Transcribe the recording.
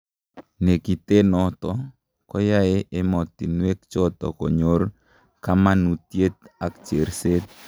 "Nekitenoto koyae emotinwechoto konyor kamanutiet ak cherset'